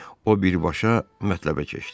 O birbaşa mətləbə keçdi.